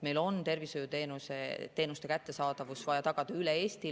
Meil on tervishoiuteenuste kättesaadavus vaja tagada üle Eesti.